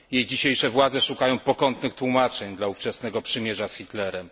Jej dzisiejsze władze szukają pokątnych tłumaczeń dla ówczesnego przymierza z Hitlerem.